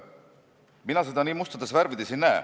Mina seda nii mustades värvides ei näe.